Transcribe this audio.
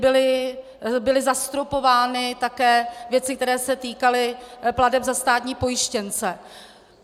Byly zastropovány také věci, které se týkaly plateb za státní pojištěnce.